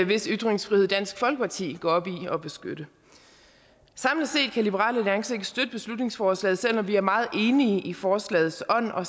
hvis ytringsfrihed dansk folkeparti går op i at beskytte samlet set kan liberal alliance ikke støtte beslutningsforslaget selv om vi er meget enige i forslagets ånd og